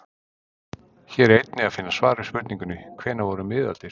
Hér er einnig að finna svar við spurningunni: Hvenær voru miðaldir?